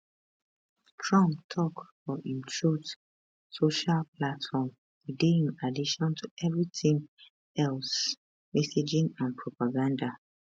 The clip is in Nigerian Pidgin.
trump tok for imtruth social platform e dey in addition to evritin else messaging and propaganda